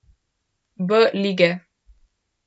B lige.